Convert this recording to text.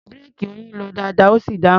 Búréèkì Oyin lọ dáadáa, ó sì dáhùn.